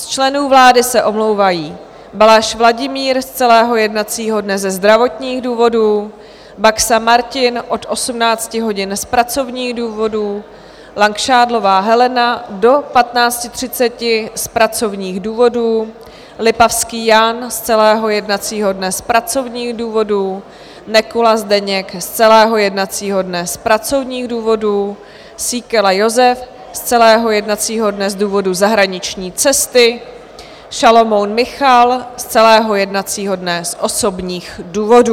Z členů vlády se omlouvají: Balaš Vladimír z celého jednacího dne ze zdravotních důvodů, Baxa Martin od 18 hodin z pracovních důvodů, Langšádlová Helena do 15.30 z pracovních důvodů, Lipavský Jan z celého jednacího dne z pracovních důvodů, Nekula Zdeněk z celého jednacího dne z pracovních důvodů, Síkela Jozef z celého jednacího dne z důvodu zahraniční cesty, Šalomoun Michal z celého jednacího dne z osobních důvodů.